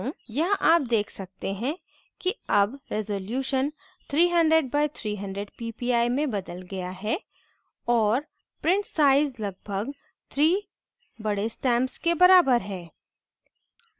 यहाँ आप देख सकते हैं कि अब resolution 300 by 300 ppi में बदल गया है और print size लगभग 3 बड़े stamps के बराबर है